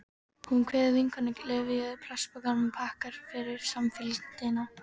Hún kveður vinkonuna, klyfjuð plastpokum, og þakkar fyrir samfylgdina.